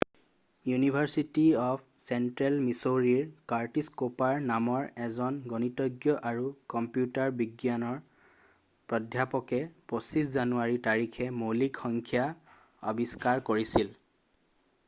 university of central মিচৌৰীৰ Curtis Cooper নামৰ এজন গণিতজ্ঞ আৰু কম্পিউটাৰ বিজ্ঞান প্ৰাধ্যাপকে 25 জানুৱাৰী তাৰিখে মৌলিক সংখ্যা আৱিষ্কাৰ কৰিছিল